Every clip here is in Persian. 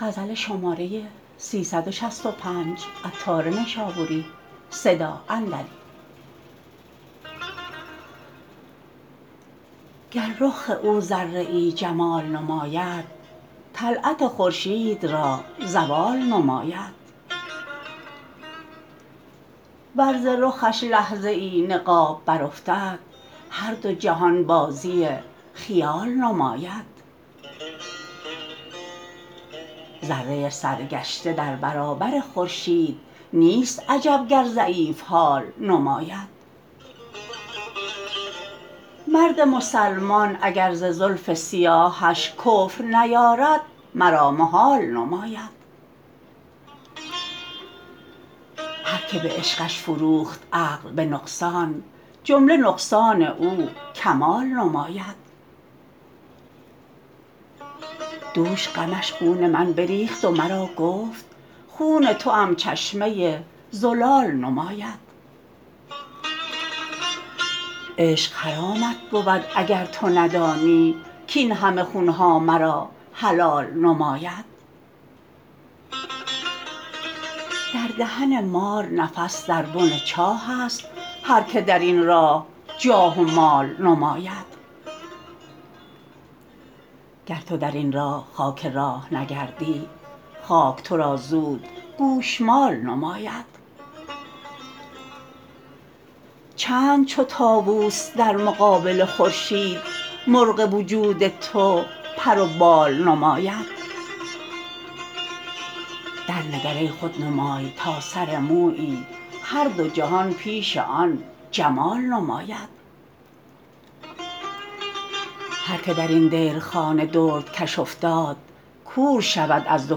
گر رخ او ذره ای جمال نماید طلعت خورشید را زوال نماید ور ز رخش لحظه ای نقاب برافتد هر دو جهان بازی خیال نماید ذره سرگشته در برابر خورشید نیست عجب گر ضعیف حال نماید مرد مسلمان اگر ز زلف سیاهش کفر نیارد مرا محال نماید هر که به عشقش فروخت عقل به نقصان جمله نقصان او کمال نماید دوش غمش خون من بریخت و مرا گفت خون توام چشمه زلال نماید عشق حرامت بود اگر تو ندانی کین همه خون ها مرا حلال نماید در دهن مار نفس در بن چاه است هر که درین راه جاه و مال نماید گر تو درین راه خاک راه نگردی خاک تو را زود گوشمال نماید چند چو طاوس در مقابل خورشید مرغ وجود تو پر و بال نماید درنگر ای خودنمای تا سر مویی هر دو جهان پیش آن جمال نماید هر که درین دیرخانه دردکش افتاد کور شود از دو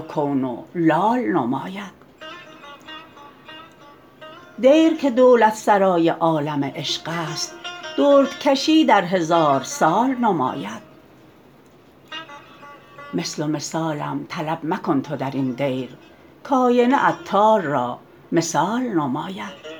کون و لال نماید دیر که دولت سرای عالم عشق است دردکشی در هزار سال نماید مثل و مثالم طلب مکن تو درین دیر کاینه عطار را مثال نماید